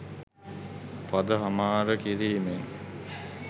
පද හමාර කිරීමෙන්